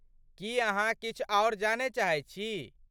की अहाँ किछु आओर जानय चाहैत छी?